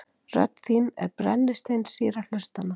Rödd þín er brennisteinssýra hlustanna.